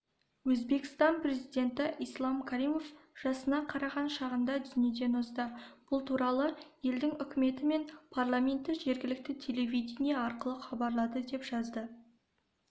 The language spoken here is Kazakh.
өзбекстан президенті ислам каримов жасына қараған шағында дүниеден озды бұл туралы елдің үкіметі мен парламенті жергілікті телевидение арқылы хабарлады деп жазды